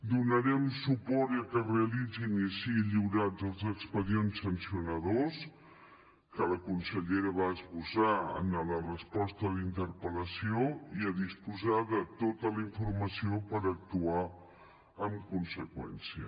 donarem suport perquè es realitzin i siguin lliurats els expedients sancionadors que la consellera va esbossar en la resposta a la interpel·lació per disposar de tota la informació i actuar en conseqüència